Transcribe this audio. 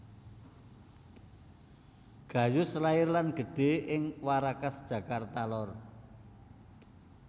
Gayus lair lan gedhe ing Warakas Jakarta lor